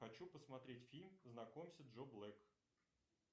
хочу посмотреть фильм знакомься джо блэк